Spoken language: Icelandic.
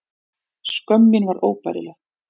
Skömm mín var óbærileg.